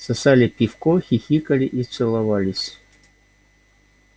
сосали пивко хихикали и целовались